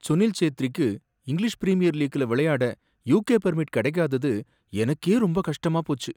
சுனில் சேத்ரிக்கு English Premier லீக்ல விளையாட யுகே வொர்க் பெர்மிட் கிடைக்காதது எனக்கே ரொம்ப கஷ்டமா போச்சு.